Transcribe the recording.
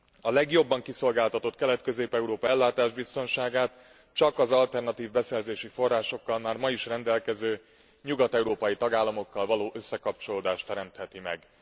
A legjobban kiszolgáltatott Kelet Közép Európa ellátásának biztonságát csak az alternatív beszerzési forrásokkal már ma is rendelkező nyugat európai tagállamokkal való összekapcsolódás teremtheti meg.